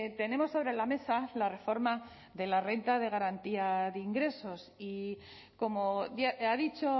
tenemos sobre la mesa la reforma de la renta de garantía de ingresos y como ha dicho